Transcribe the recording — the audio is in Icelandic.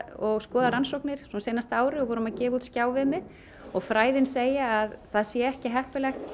og skoða rannsóknir síðasta árið og vorum að gefa út skjáviðmið fræðin segja að það sé ekki heppilegast